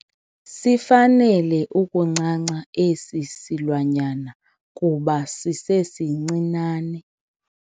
Sifanele ukuncanca esi silwanyana kuba sisesincinane.